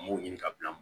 An m'o ɲini ka bila